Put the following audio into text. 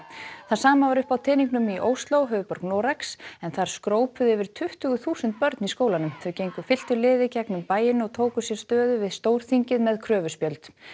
það sama var uppi á teningnum í Ósló höfuðborg Noregs en þar skrópuðu yfir tuttugu þúsund börn í skólanum þau gengu fylktu liði gegnum bæinn og tóku sér stöðu við Stórþingið með kröfuspjöld